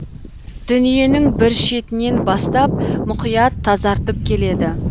дүниенің бір шетінен бастап мұқият тазартып келеді